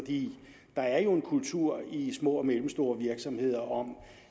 der er jo en kultur i små og mellemstore virksomheder om